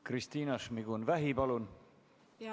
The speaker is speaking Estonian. Kristina Šmigun-Vähi, palun!